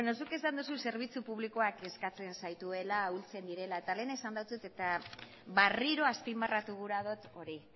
zuk esan duzu zerbitzu publikoak kezkatzen zaituela ahultzen direla eta lehen esan eta berriro azpimarratu gura dut hori